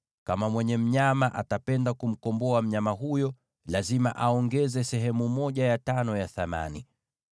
Kama mwenye mnyama atapenda kumkomboa mnyama huyo, lazima aongeze sehemu ya tano ya thamani yake.